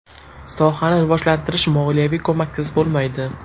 Sohani rivojlantirish moliyaviy ko‘maksiz bo‘lmaydi.